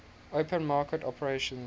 open market operations